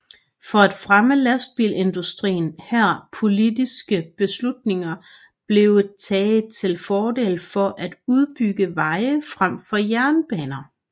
For at fremme lastbilsindustrien her politiske beslutninger blevet taget til fordel for at udbygge veje frem for jernbaner